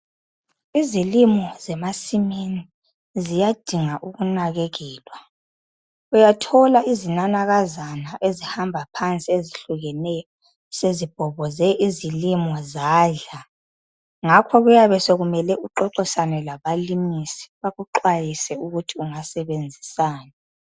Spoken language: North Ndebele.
Izilimo zemasimini ziyadinga ukunakekelwa. Uyathola izinanakazana ezihamba phansi ezihlukeneyo sezibhoboze izilimo zadla. Ngakho kuyabe sekumele uxoxisane labalimisi bakuxwayise ukuthi ungasebenzisani.